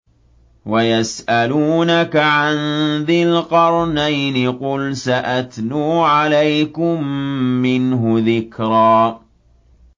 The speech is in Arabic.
وَيَسْأَلُونَكَ عَن ذِي الْقَرْنَيْنِ ۖ قُلْ سَأَتْلُو عَلَيْكُم مِّنْهُ ذِكْرًا